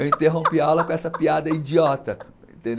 Eu interrompi a aula com essa piada idiota, entendeu?